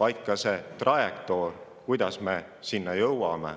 vaid ka trajektoor, kuidas me sinna jõuame.